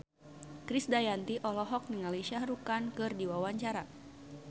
Krisdayanti olohok ningali Shah Rukh Khan keur diwawancara